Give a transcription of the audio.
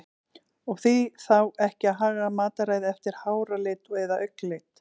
Og því þá ekki að haga mataræði eftir háralit eða augnlit?